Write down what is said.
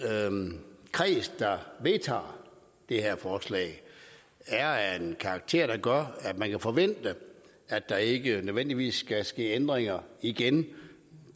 at den kreds der vedtager det her forslag er af en karakter der gør at man kan forvente at der ikke nødvendigvis skal ske ændringer igen